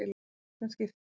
Í seinna skiptið.